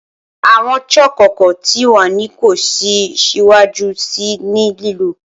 Awọn chalk ọkọ ti wa ni ko si siwaju sii ni lilo